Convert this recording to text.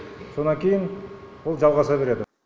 сонан кейін ол жалғаса береді